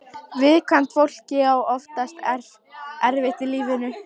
Viðkvæmt fólk á oftast erfitt í lífinu.